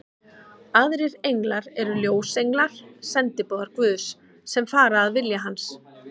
Aðrir englar eru ljósenglar, sendiboðar Guðs, sem fara að vilja hans.